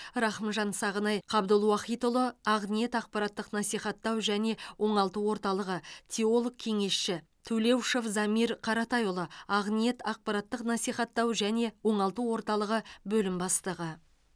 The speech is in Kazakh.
рахымжан сағынай қабдулуахитұлы ақниет ақпараттық насихаттау және оңалту орталығы теолог кеңесші тулеушов замир қаратайұлы ақниет ақпараттық насихаттау және оңалту орталығы бөлім бастығы